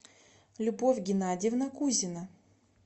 любовь геннадьевна кузина